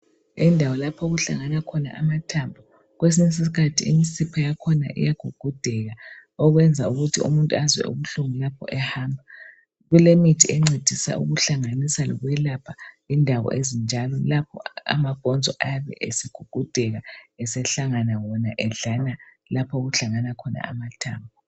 Indawo lapho okuhlangana khona amathambo, kwesinye isikhathi imsipha yakhona iyagugudeka, okwenza ukuthi umuntu azwe ubuhlungu lapho ehamba. Kulemithi encedisa ukuhlanganisa lokwelapha indawo ezinjalo lapho amabhonzo ayabe egugudeka esehlangana wona edlana lapho okuhlangana khona amathambo.